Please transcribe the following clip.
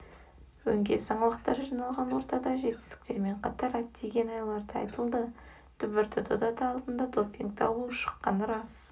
өңкей саңлақтар жиналған ортада жетістіктермен қатар әттеген-айлар да айтылды дүбірді дода алдында допинг дауы ушыққаны рас